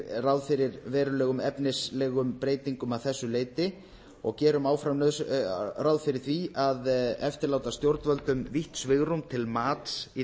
ráð fyrir verulegum efnislegum breytingum að þessu leyti og gerum áfram ráð fyrir því að eftirláta stjórnvöldum vítt svigrúm til mats í